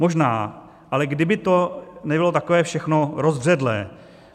Možná, ale kdyby to nebylo takové všechno rozbředlé.